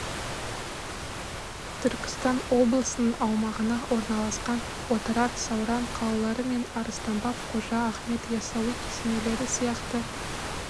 түркістан облысының аумағында орналасқан отырар сауран қалалары мен арыстан баб қожа ахмет ясауи кесенелері сияқты